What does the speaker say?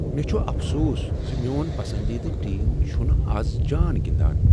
مےٚ چھ افسوس ز میون پسندیدٕ ٹیم چھنہٕ از جان گنٛدان۔